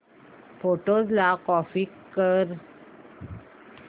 photos ला copy कर